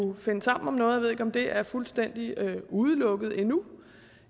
finde sammen om noget jeg ved ikke om det er fuldstændig udelukket endnu